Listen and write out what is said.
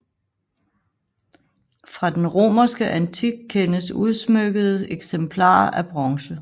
Fra den romerske antik kendes udsmykkede eksemplarer af bronze